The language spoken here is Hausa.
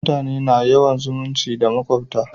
mutane na yawan zumunci da makwabta